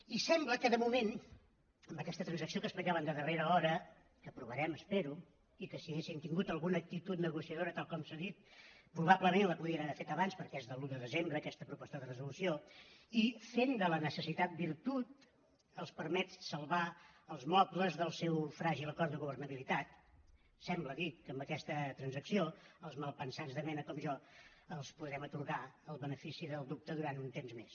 i sembla que de moment amb aquesta transacció que explicaven de darrera hora que aprovarem espero i que si haguessin tingut alguna actitud negociadora tal com s’ha dit probablement la podrien haver fet abans perquè és de l’un de desembre aquesta proposta de resolució i fent de la necessitat virtut els permet salvar els mobles del seu fràgil acord de governabilitat sembla dic que amb aquesta transacció els malpensats de mena com jo els podrem atorgar el benefici del dubte durant un temps més